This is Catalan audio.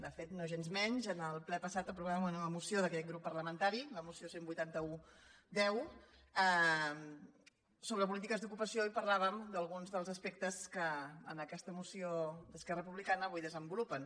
de fet en el ple passat aprovàvem una nova moció d’aquest grup parlamentari la moció cent i vuitanta un x sobre polítiques d’ocupació i parlàvem d’alguns dels aspectes que en aquesta moció d’esquerra republicana avui desenvolupen